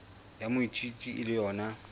ya moithuti e le yona